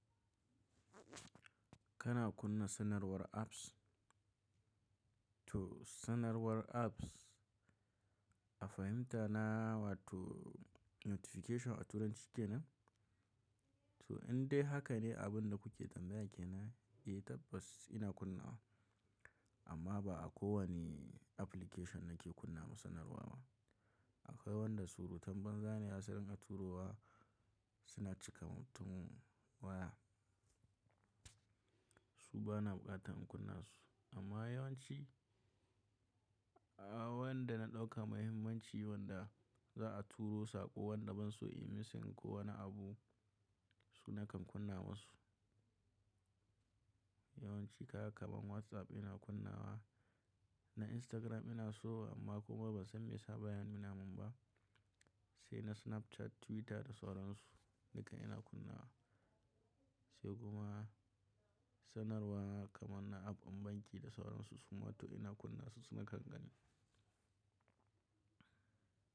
Kana kunna sanarwar apps? To sanarwar apps a fahimta na wato notification a turanci kenan? To in dai haka ne abin da kuke tambaya ke nan, eh tabbas ina kunna wa amma ba a kowane application nake kunna ma sanarwa ba. Akwai wanda surutan banza ne zasu ringa turo wa suna cika mutum waya. Su bana buƙatar in kunna su amma yawanci, a wanda na ɗauka muhimmanci wanda za a turo saƙo wanda ban so in yi missing ko wani abu su nakan kunna ma su. Yawanci kaga kamar WhatsApp ina kunna wa na Instagram ina so amma kuma ban san me yasa baya nuna mun ba. Sai na Snapchat, Twitter da sauransu nakan iya kunna wa. Sai kuma sanarwa kamar na app ɗin banki da sauransu su ma to ina kunna su na kangani.